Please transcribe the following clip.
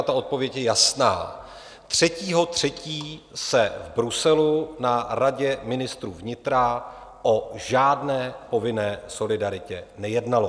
A ta odpověď je jasná: 3. 3. se v Bruselu na Radě ministrů vnitra o žádné povinné solidaritě nejednalo.